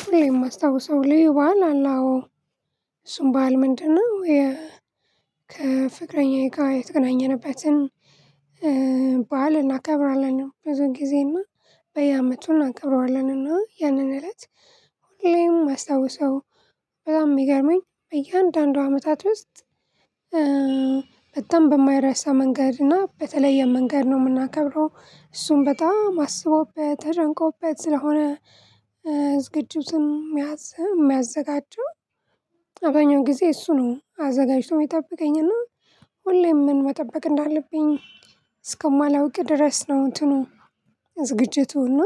ሁሌ የማስታውሰው ልዩ በዓል አለ አዎ እሱም በዓል ምንድነው? የ ከፍቅረኛዬ ጋር የተገናኘንበትን ባል እናከብራለን ብዙ ጊዜ እና በየአመቱ እናከብረዋለን እና ያንን እለት ሁሌም መስታውሰው። በጠም የሚገርመኝ በእያንዳንዱ አመታት ውስጥ በጣም በማይረሳ መንገድ እና በተለየ መንገድ ነው የምናከብረው እሱን በጣም አስቦበት ተጨንቆበት ስለሆነ። ዝግጅቱን የሚያዘጋጀው አብዘኛውን ጊዜ እሱ ነው አዘጋጅቶ የምጠበቀኝና ሁሌም ምን መጠበቅ እንዳለብኝ እስከማላውቅ ድረስ ነው። እንትኑ ዝግጅቱና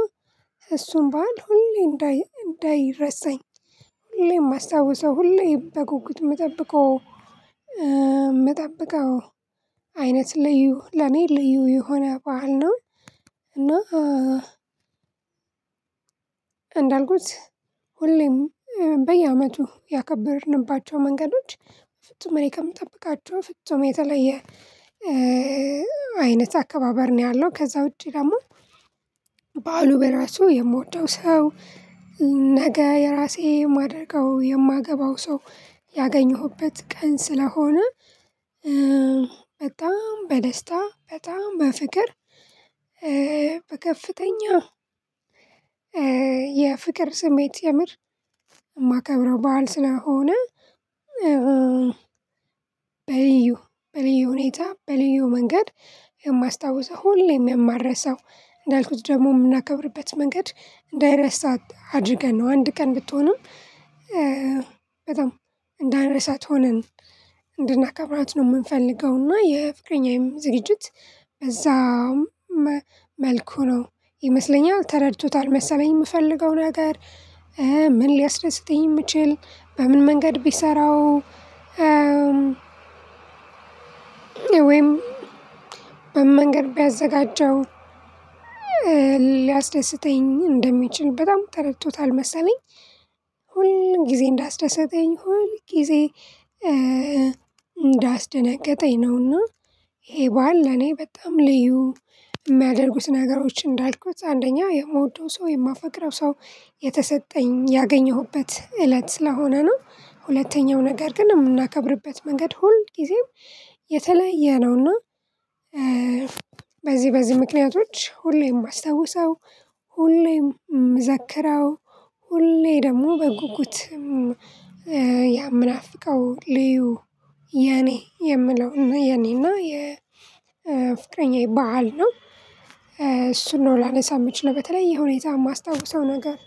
እሱን ባህል ሁሌ እንዳይ እንዳይረሳኝ ሁሌም አስታውሰው ሁሌ በጉጉት የምጠብቀው የምጠብቀው አይነት ልዩ ለኔ ልዩ የሆነ በዓል ነው። እና እንዳልኩት ሁሌም በየአመቱ ያከበርንባቸው መንገዶች ፍጹም እኔ ከምጠብቃቸው ፍጹም የተለየ አይነት አከባበር ነው። ያለው ከዛ ውጪ ደግሞ በዓሉ በራሱ የምወደው ሰው ነገ የራሴ የማደርገው የማገባው ሰው ያገኘሁበት ቀን ስለሆነ በጣም በደስታ በጣም በፍቅር በከፍተኛ የፍቅር ስሜት የምር የማከብረው በዓል ስለሆነ። በል በልዩ ሁኔታ በልዩ መንገድ የማስታውሰው ሁሌም የማልረሰው እንዳልኩት ደግሞ የምናከብርበት መንገድ እንዳይረሳ አድርገን ነው አንድ ቀን ብትሆንም እንዳንረሳት ሆነን እንድናከብራት ነው የምንፈልገው። እና የፍቅረኛዬም ዝግጅት በዛውም መልኩ ነው ይመስለኛል ተረድቶታል መሰለኝ የምፈልገውን ነገር ምን ሊያስደስትኝ እንደምችል በምን መንገድ ቢሰራው ወይም በመንገድ ቢያዘጋጀው ሊያስደስተኝ እንደሚችል በጣም ተረድቶታል መሰለኝ። ሁል ጊዜ እንዳስደሰተኝ ሁል ጊዜ እንዳስደነገጠኝ ነውና ይሄ በዓል ለኔ በጣም ልዩ የሚያደርጉት ነገሮች እንዳልኩት አንደኛ የምወደው ሰው የማፈቅረው ሰው የተሰጠኝ ያገኘሁበት እለት ስለሆነ ነው። ሁለተኛው ነገር ግን የምናከብርበት መንገድ ሁል ጊዜም የተለየ ነውና። በዚህ በዚህ ምክንያቶች ሁሌም የመስታውሰው ሁሌም ምዘክረው ሁሌ ደግሞ በጉጉትም ምናፍቃው ልዩ የኔ የምለው የኔና የፍቅረኛ በዓል ነው። እሱን ነው ላነሳው የምችለው በተለይ ሆኔታ የማስታውሰው ነገር